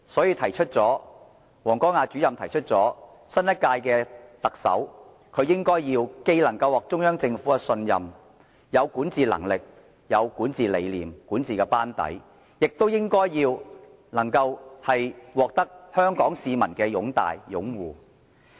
因此，王光亞主任提出新任特首要能獲得中央政府的信任，又要有管治能力、理念、班底，亦應獲得香港市民的擁戴和擁護。